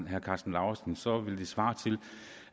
herre karsten lauritzen så ville det svare til